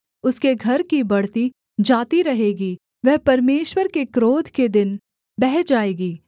उसके घर की बढ़ती जाती रहेगी वह परमेश्वर के क्रोध के दिन बह जाएगी